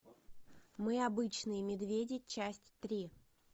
мы обычные медведи часть три